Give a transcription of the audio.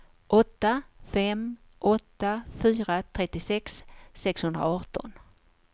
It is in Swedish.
åtta fem åtta fyra trettiosex sexhundraarton